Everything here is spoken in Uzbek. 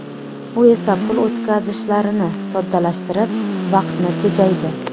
U esa pul o‘tkazishlarini soddalashtirib, vaqtni tejaydi.